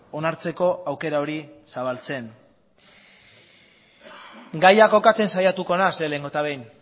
onartzeko aukera hori zabaltzen gaia kokatzen saiatuko naiz lehenengo eta behin